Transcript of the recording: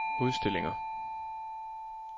udstillinger